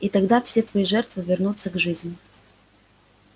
и тогда все твои жертвы вернутся к жизни